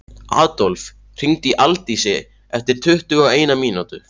Adólf, hringdu í Aldísi eftir tuttugu og eina mínútur.